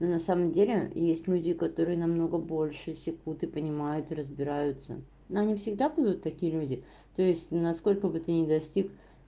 и на самом деле есть люди которые намного больше секут и понимают и разбираются но они всегда будут такие люди то есть насколько бы ты не достиг